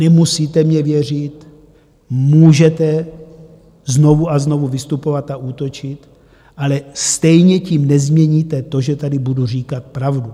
Nemusíte mně věřit, můžete znovu a znovu vystupovat a útočit, ale stejně tím nezměníte to, že tady budu říkat pravdu.